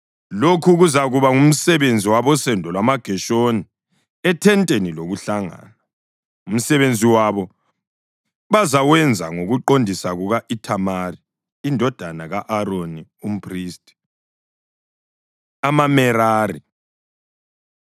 Lokhu kuzakuba ngumsebenzi wabosendo lwamaGeshoni ethenteni lokuhlangana. Umsebenzi wabo bazawenza ngokuqondisa kuka-Ithamari indodana ka-Aroni, umphristi.” AmaMerari